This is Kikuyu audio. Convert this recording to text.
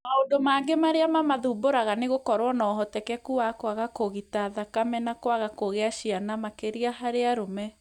Maũndu mangĩ arĩa mamathumbũraga nĩ gũkorwo na ũhotekeku wa kũaga kũgĩta thakame na kũaga kũgĩa ciana makĩria harĩ arũme.